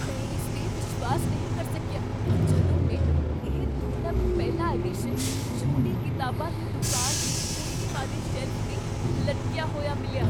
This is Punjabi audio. ਮੈਂ ਇਸ 'ਤੇ ਵਿਸ਼ਵਾਸ ਨਹੀਂ ਕਰ ਸਕਿਆ ਜਦੋਂ ਮੈਨੂੰ ਇਹ ਦੁਰਲੱਭ ਪਹਿਲਾ ਐਡੀਸ਼ਨ ਛੋਟੀ ਕਿਤਾਬਾਂ ਦੀ ਦੁਕਾਨ ਦੇ ਕੋਨੇ ਵਾਲੇ ਸ਼ੈਲਫ 'ਤੇ ਲਟਕਿਆ ਹੋਇਆ ਮਿਲਿਆ।